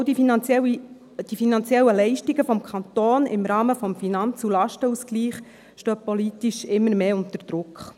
Auch die finanziellen Leistungen des Kantons im Rahmen des Finanz- und Lastenausgleichs stehen politisch immer mehr unter Druck.